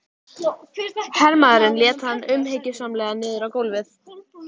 Hann ferðaðist um héraðið en starfaði lítið sem ekki neitt.